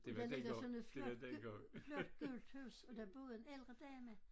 Og der ligger sådan et flot flot gult hus og der boede en ældre dame